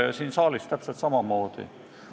Ja siin saalis täpselt samamoodi.